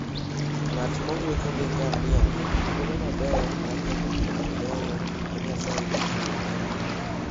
Ng'at mowuotho gi ngamia nigi thuolo maber mar neno gik mabeyo ma Nyasaye nochueyo.